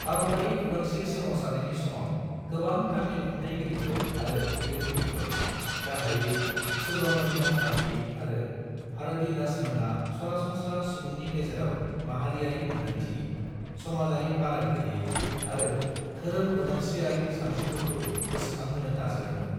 भारतारि उदांस्री सोमावसारनायनि समाव, गोबां तामिल खन्थायगिरिफोर आरो लिरगिरिफोर, गाहायै सुब्रमण्य भारती आरो भारतीदासनमोनहा सरासनस्रा सुबुंनि गेजेराव माहारियारि मोन्दांथि, समाजारि फाराग गैयै आरो धोरोम उदांस्रीआरि सानस्रिफोरखौ गोसोखांहोनो नाजादोंमोन।